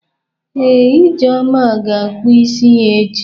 Ee, Ijeoma ga-akpụ isi ya echi.